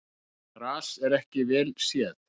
Gras var ekki vel séð.